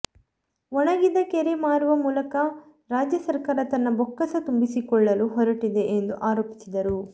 ಒಣಗಿದ ಕೆರೆ ಮಾರುವ ಮೂಲಕ ರಾಜ್ಯ ಸರ್ಕಾರ ತನ್ನ ಬೊಕ್ಕಸ ತುಂಬಿಸಿಕೊಳ್ಳಲು ಹೊರಟಿದೆ ಎಂದು ಆರೋಪಿಸಿದರು